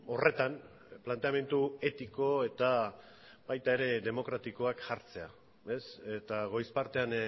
horretan planteamendu etiko eta baita ere demokratikoak jartzea eta goiz partean